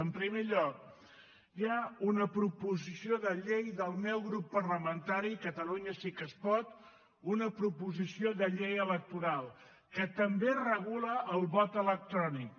en primer lloc hi ha una proposició de llei del meu grup parlamentari catalunya sí que es pot una proposició de llei electoral que també regula el vot electrònic